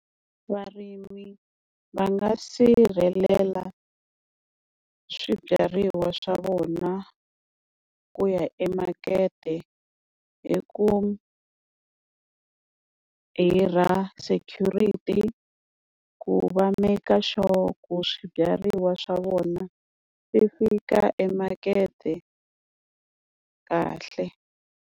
Varimi va nga sirhelela swibyariwa swa vona ku ya emakete hi ku, hirha security ku va make sure ku swibyariwa swa vona swi fika emakete kahle.